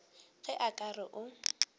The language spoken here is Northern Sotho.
ge a ka re o